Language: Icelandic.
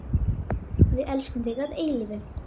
Við elskum þig að eilífu.